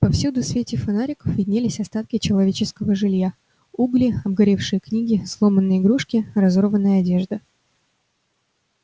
повсюду в свете фонариков виднелись остатки человеческого жилья угли обгоревшие книги сломанные игрушки разорванная одежда